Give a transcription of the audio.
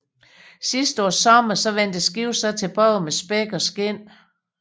Sidst på sommeren vendte skibet så tilbage med spæk og skind